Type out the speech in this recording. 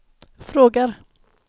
frågar